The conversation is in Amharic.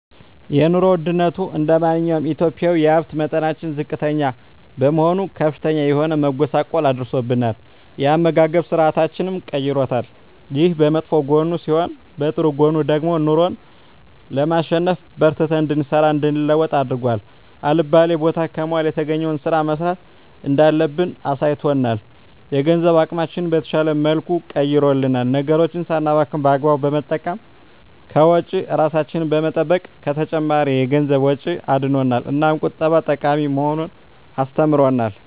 የኑሮ ወድነቱ እንደማንኛውም ኢትዮጵያዊ የሀብት መጠናችን ዝቅተኛ በመሆኑ ከፍተኛ የሆነ መጎሳቆል አድርሶብናል የአመጋገብ ስርአታችንንም ቀይሮታል። ይሄ በመጥፎ ጎኑ ሲሆን በጥሩ ጎኑ ደግሞ ኑሮን ለማሸነፍ በርትተን እንድንሰራ እንድንለወጥ አድርጎ አልባሌ ቦታ ከመዋል የተገኘዉን ስራ መስራት እንዳለብን አሳይቶናል። የገንዘብ አጠቃቀማችንን በተሻለ መልኩ ቀይሮልናል ነገሮችን ሳናባክን በአግባቡ በመጠቀም ከወጪ እራሳችንን በመጠበቅ ከተጨማሪ የገንዘብ ወጪ አድኖናል። እናም ቁጠባ ጠቃሚ መሆኑን አስተምሮናል።